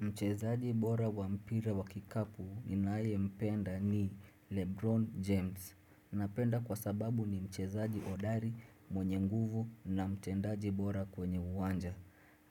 Mchezaji bora wa mpira wa kikapu ninayempenda ni Lebron James. Nampenda kwa sababu ni mchezaji hodari mwenye nguvu na mtendaji bora kwenye uwanja.